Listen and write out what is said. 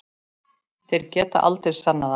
Þeir geta aldrei sannað það!